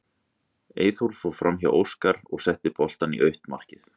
Eyþór fór framhjá Óskar og setti boltann í autt markið.